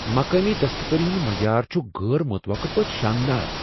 مقٲمی دستکٲری ہنٛد معیار چھ غیر متوقع پٲٹھۍ شاندار۔